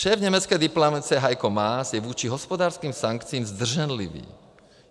Šéf německé diplomacie Heiko Maas je vůči hospodářským sankcím zdrženlivý.